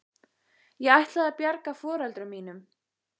Ég ætlaði að bjarga foreldrum mínum.